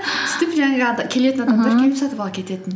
жаңағы келетін адамдар келіп сатып алып кететін